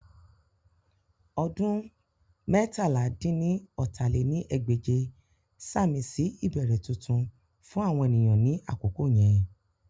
Ọdún meétalá-dín-ní-ọ́ta lé ní ẹgbẹ́je sàmì sí ìbẹ̀rẹ̀ tuntun fún àwọn ènìyàn ní àkókò yẹn.